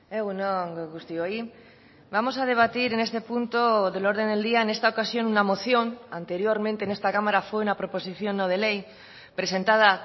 egun on guztioi vamos a debatir en este punto del orden del día en esta ocasión una moción anteriormente en esta cámara fue una proposición no de ley presentada